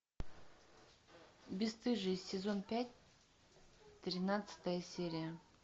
бесстыжие сезон пять тринадцатая серия